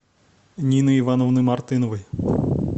нины ивановны мартыновой